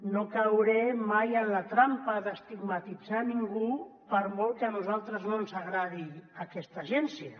no cauré mai en la trampa d’estigmatitzar ningú per molt que a nosaltres no ens agradi aquesta agència